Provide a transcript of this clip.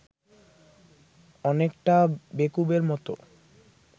অনেকটা বেকুবের মতো